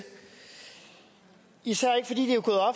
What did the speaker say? i ser